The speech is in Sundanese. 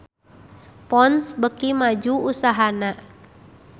Ponds beuki maju usahana